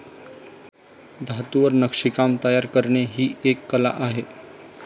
धातूवर नक्षीकाम तायर करणे ही एक कला आहे.